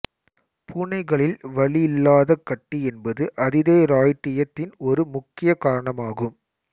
பூனைகளில் வலியில்லாத கட்டி என்பது அதிதைராய்டியத்தின் ஒரு முக்கிய காரணமாகும்